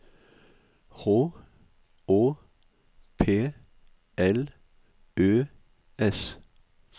H Å P L Ø S